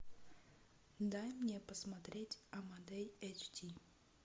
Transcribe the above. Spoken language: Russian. дай мне посмотреть амадей эйч ди